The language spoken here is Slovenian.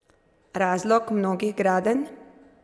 Razlog mnogih gradenj?